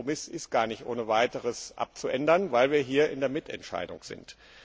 Der Kompromiss ist gar nicht ohne weiteres abzuändern, weil wir hier in der Mitentscheidung sind.